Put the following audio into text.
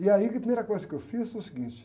E aí, que a primeira coisa que eu fiz foi o seguinte.